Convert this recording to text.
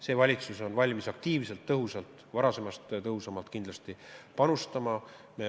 See valitsus on valmis sellesse aktiivselt ja varasemast tõhusamalt panustama.